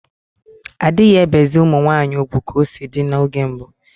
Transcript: Adighi ebezi ụmụ nwanyi ụgwụ ka o si di n’oge mbu